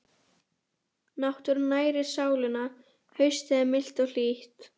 Náttúran nærir sálina Haustið er milt og hlýtt.